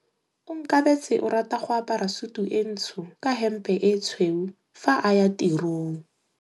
Onkabetse o rata go apara sutu e ntsho ka hempe e tshweu fa a ya tirong.